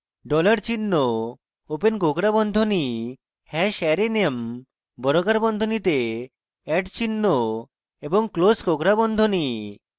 dollar চিহ্ন open কোঁকড়া বন্ধনী hash arrayname বর্গাকার বন্ধনীতে @চিহ্ন এবং ক্লোস কোঁকড়া বন্ধনী